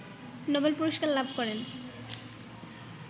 Nobel পুরস্কার লাভ করেন